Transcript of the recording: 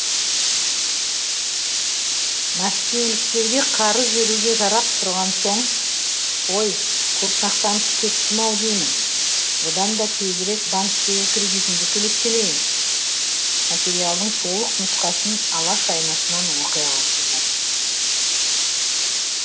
мәскеуліктерге қарыз беруге жарап тұрған соң қой көп мақтанып кеттім ау деймін одан да тезірек банктегі кредитімді төлеп келейін материалдың толық нұсқасын алаш айнасынан оқи аласыздар